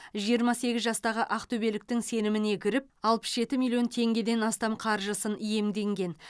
жиырма сегіз жастағы ақтөбеліктің сеніміне кіріп алпыс жеті миллион теңгеден астам қаржысын иемденген